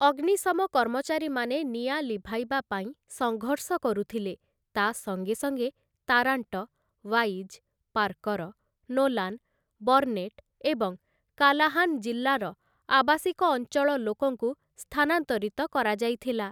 ଅଗ୍ନିଶମ କର୍ମଚାରୀମାନେ ନିଆଁ ଲିଭାଇବା ପାଇଁ ସଙ୍ଘର୍ଷ କରୁଥିଲେ, ତା' ସଙ୍ଗେ ସଙ୍ଗେ Tarrant, Wise, Parker, Nolan, Burnet, ଏବଂ କାଲାହାନ୍ ଜିଲ୍ଲାର ଆବାସିକ ଅଞ୍ଚଳ ଲୋକଙ୍କୁ ସ୍ଥାନାନ୍ତରିତ କରାଯାଇଥିଲା ।